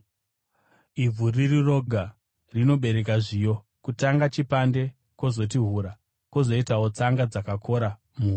Ivhu riri roga rinobereka zviyo, kutanga chipande, kwozoti hura, kwozoitawo tsanga dzakakora muhura.